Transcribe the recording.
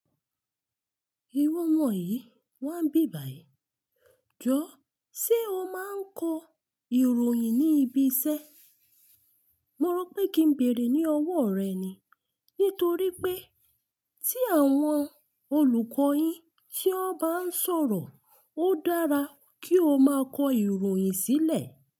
Ìwọ omọ yí, wà nbi bàyí. Jọ́, ṣe o máa ń kọ ìròyìn ní ibi iṣẹ́? Mo rọ pé kí n bèrè ní ọwọ́ rẹ ni. Nítorí pé tí àwọn olùkọ́ yín tí wọ́n bá ń sọ̀rọ̀, ó dára kí o máa kọ ìròyìn sílẹ̀